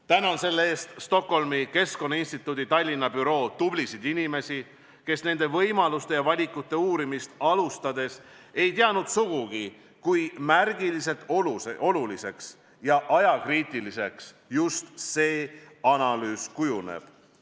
Tänan selle eest Stockholmi Keskkonnainstituudi Tallinna büroo tublisid inimesi, kes nende võimaluste ja valikute uurimist alustades ei teadnud sugugi, kui märgiliselt oluliseks ja ajakriitiliseks just see analüüs kujuneb.